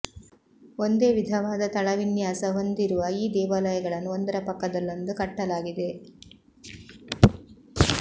ಒಂದೇ ವಿಧವಾದ ತಳವಿನ್ಯಾಸ ಹೊಂದಿರುವ ಈ ದೇವಾಲಯಗಳನ್ನು ಒಂದರ ಪಕ್ಕದಲ್ಲೊಂದು ಕಟ್ಟಲಾಗಿದೆ